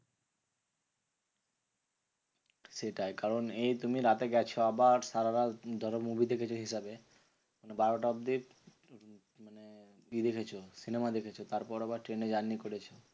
সেটাই, কারণ এই তুমি রাতে গেছো আবার সারারাত ধরো movie দেখেছো হিসাবে। বারোটা অব্দি ই দেখেছো। cinema দেখেছো তারপর আবার ট্রেনে journey করেছো।